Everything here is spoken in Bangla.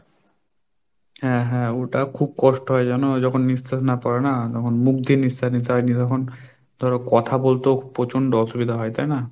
হ্যাঁ হ্যাঁ ওটা খুব কষ্ট হয় জানো ও যখন নিঃশ্বাস না পরে না, তখন মুখ দিয়ে নিশ্বাস নিতে হয়, তখন তোর কথা বলতে প্রচন্ড অসুবিধা হয়, তাই না?